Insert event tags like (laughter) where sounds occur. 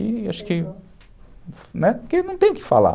E acho que... (unintelligible) né, porque não tem o que falar.